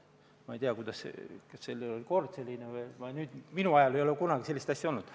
Ma ei tea, kas siis oli kord selline, minu ajal ei ole kunagi sellist asja olnud.